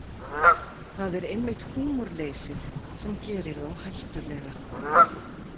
Það er einmitt húmorleysið sem gerir þá hættulega.